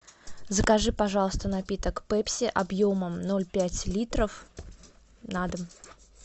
закажи пожалуйста напиток пепси объемом ноль пять литров на дом